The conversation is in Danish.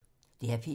DR P1